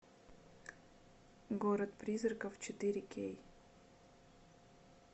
город призраков четыре кей